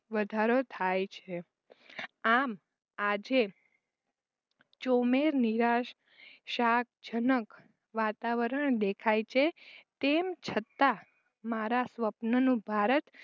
વધારો થાય છે. આમ આજે ચોમેર નિરાશ શાક જનક વાતાવરણ દેખાય છે તેમ છતાં મારા સ્વપનનું ભારત